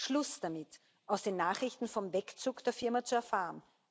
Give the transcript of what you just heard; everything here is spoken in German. Schluss damit, aus den Nachrichten vom Wegzug der Firma zu erfahren!